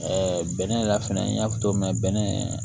bɛnɛ yɛrɛ fɛnɛ n y'a fɔ cogo min na bɛnɛ